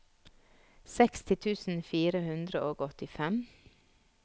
seksti tusen fire hundre og åttifem